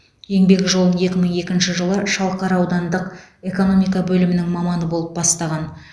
еңбек жолын екі мың екінші жылы шалқар аудандық экономика бөлімінің маманы болып бастаған